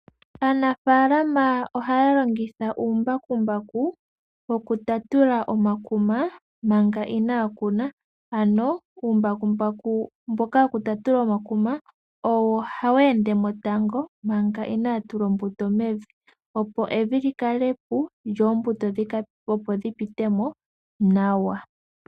Aanafalama ohaya longitha uumbakumbaku woku tatula omakuma manga inaya kuna, ano uumbakumbaku mboka woku tatula omakuma owo hawu ende mo tango manga inaaya tula oombuto mevi, opo evi lyi kale epu dho oombuto dhi pite mo nawa.